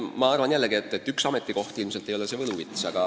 Ma arvan, et üks ametikoht ilmselt ei ole see võluvits.